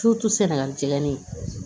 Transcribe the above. sɛnɛgali jɛgɛni